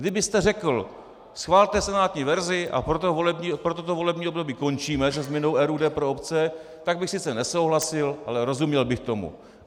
Kdybyste řekl "schvalte senátní verzi a pro toto volební období končíme se změnou RUD pro obce", tak bych sice nesouhlasil, ale rozuměl bych tomu.